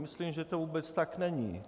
Myslím, že to vůbec tak není.